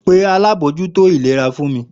Pe alábòójútó ìlera fún mi!